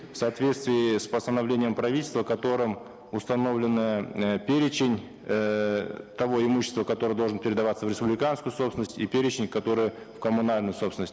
в соответствии с постановлением правительства которым установлен э перечень эээ того имущества которое должно передаваться в республиканскую собственность и перечень которое в коммунальную собственность